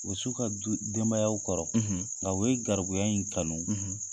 O bɛ s'u ka du denbayaw kɔrɔ , ,nga u ye garibuya in kanu,